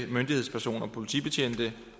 myndighedspersoner politibetjente